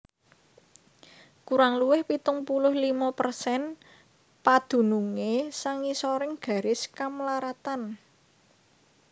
Kurang luwih pitung puluh limo persen padunungé sangisoring garis kamlaratan